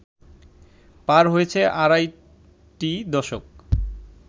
পার হয়েছে আড়াইটি দশক